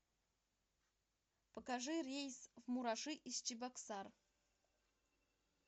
покажи рейс в мураши из чебоксар